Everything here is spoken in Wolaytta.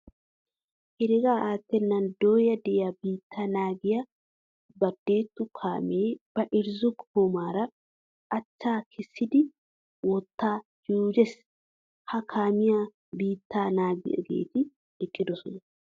Heregaa attennan dooya diya biitaa naagiya badetu kaamee ba irzzo goomaara achchaa kessidi wottaa juujes. Ha kaamiyan biittaa naagiyageeti eqqidosona.